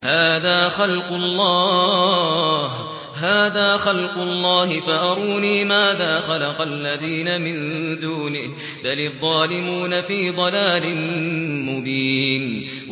هَٰذَا خَلْقُ اللَّهِ فَأَرُونِي مَاذَا خَلَقَ الَّذِينَ مِن دُونِهِ ۚ بَلِ الظَّالِمُونَ فِي ضَلَالٍ مُّبِينٍ